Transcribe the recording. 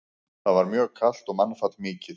Þar var mjög kalt og mannfall mikið.